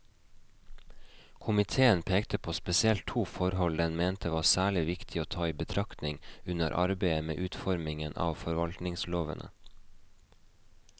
Komiteen pekte på spesielt to forhold den mente var særlig viktig å ta i betraktning under arbeidet med utformingen av forvaltningslovene.